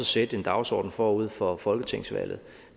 sætte en dagsorden forud for folketingsvalget